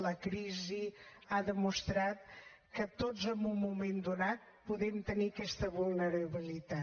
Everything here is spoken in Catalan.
la crisi ha demostrat que tots en un moment donat podem tenir aquesta vulnerabilitat